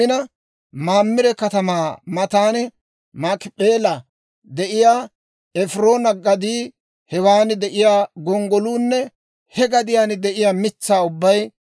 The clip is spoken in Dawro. Mamire katamaa matan Maakip'eelan de'iyaa Efiroona gadii, hewan de'iyaa gonggoluunne he gadiyaan de'iyaa mitsaa ubbay,